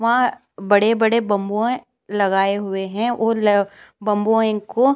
वहाँ बड़े-बड़े बाम्बूहै। लगाए हुए हैं और ले बम्बूयों को --